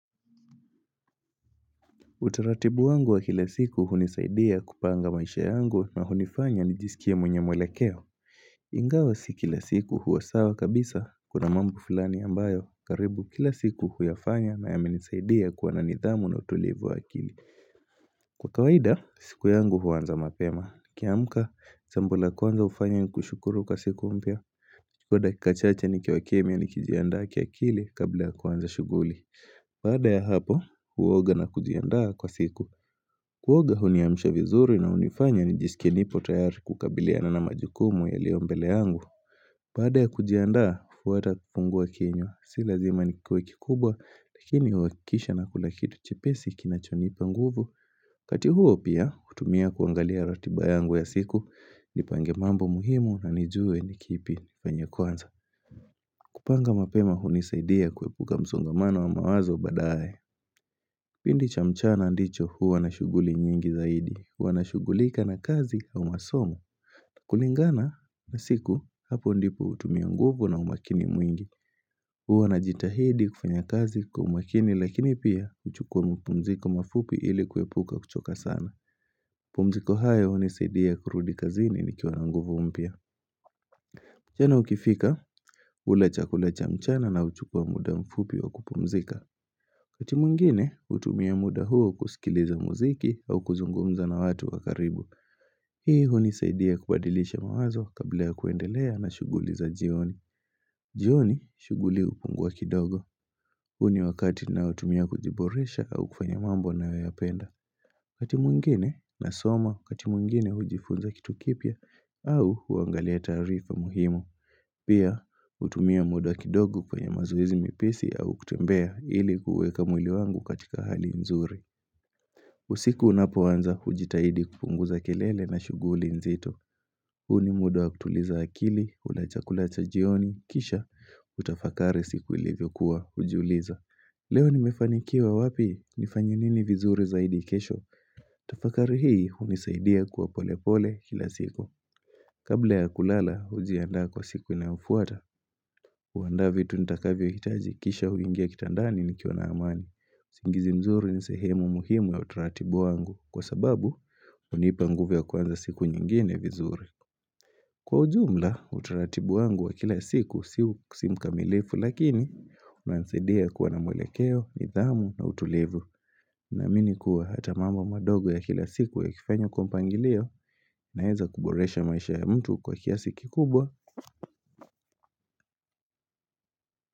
Utaratibu wangu wa kila siku hunisaidia kupanga maisha yangu na hunifanya nijisikie mwenye mwelekeo Ingawa si kila siku huwasawa kabisa kuna mambo flani ambayo karibu kila siku huyafanya na yamenisaidia kuwa na nidhamu na utulivu wa akili Kwa kawaida, siku yangu huanza mapema nikiamka, jambo la kwanza ufanya ni kushukuru kwa siku umpya Kwa dakikachache ni kiwakemia ni kijiandaake akili kabla kuwanza shughuli Baada ya hapo, huoga na kujiandaa kwa siku Kuoga huniamsha vizuri na hunifanya nijisikie nipo tayari kukabiliana na majukumu yaliyombele yangu Baada ya kujiandaa, huwata kufungua kinywa Silazima nikuwe kikubwa, lakini huakisha na kulakitu chepesi kinachonipa nguvu kati huo pia, hutumia kuangalia ratibayangu ya siku Nipange mambo muhimu na nijue nikipi penye kuanza kupanga mapema hunisaidia kuepuka msongamano wa mawazo badaye Pindi cha mchana ndicho huwa na shughuli nyingi zaidi. Huwa na shughulika na kazi au masomo. Kulingana na siku hapo ndipo utumia nguvu na umakini mwingi. Huwa na jitahidi kufanya kazi kwa umakini lakini pia uchukua mpumziko mafupi ili kuepuka kuchoka sana. Pumziko hayo hunisaidia kurudi kazini ni kiwa na nguvu mpya. Chana ukifika ule chakulacha mchana na uchukue muda mfupi wa kupumzika. Kati mwingine hutumia muda huo kusikiliza muziki au kuzungumza na watu wakaribu. Hii hunisaidia kubadilisha mawazo kabla ya kuendelea na shuguliza jioni. Jioni shughuli hupungua kidogo. Huni wakati naotumia kujiboresha au kufanya mambo nayoyapenda. Katimwingine na soma katimwingine hujifunza kitu kipya au huangalia taarifa muhimu. Pia hutumia muda kidogo kwenye mazoezi mepesi au kutembea ili kuweka mwili wangu katika hali nzuri. Usiku unapoanza hujitahidi kupunguza kelele na shughuli nzito. Huu ni muda wa kutuliza akili, kula chakula cha jioni, kisha, utafakari siku ilivyo kuwa hujiuliza. Leo ni mefanikiwa wapi ni fanye nini vizuri zaidi kesho, tafakari hii hunisaidia kwa pole pole kila siku. Kabla ya kulala hujiandaa kwa siku inayofuata, huandaa vitu nitakavyo hitaji kisha huingia kitandani nikiwa na amani. Singizi mzuri ni sehemu muhimu ya utaratibu wangu kwa sababu hunipa nguvu ya kuanza siku nyingine vizuri. Kwa ujumla, utaratibu wangu wa kila siku siuk simkamilifu lakini, unansaidia kuwa na mwelekeo, nidhamu na utulivu. Naamini kuwa hata mambo madogo ya kila siku ikifanywa kwa mpangilio, naeza kuboresha maisha ya mtu kwa kiasi kikubwa.